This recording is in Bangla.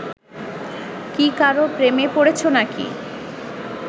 কী কারও প্রেমে পড়েছ নাকি